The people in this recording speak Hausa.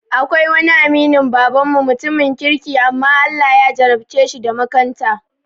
Akwai wani aminin baban mu, mutumin kirki amma Allah ya jarabceshi da makanta